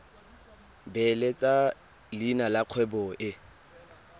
beeletsa leina la kgwebo e